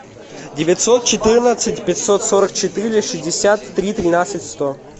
девятьсот четырнадцать пятьсот сорок четыре шестьдесят три тринадцать сто